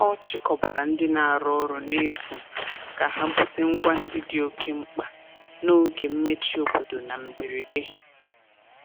Ọ chịkọbara ndị na-arụ ọrụ n'efu ka ha bute ngwa ndị dị oke mkpa n'oge mmechi obodo na mberede.